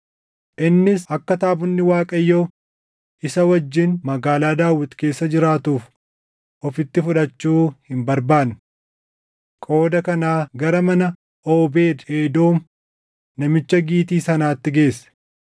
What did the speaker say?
Innis akka taabonni Waaqayyoo isa wajjin Magaalaa Daawit keessa jiraatuuf ofitti fudhachuu hin barbaanne. Qooda kanaa gara mana Oobeed Edoom namicha Gitii sanaatti geesse.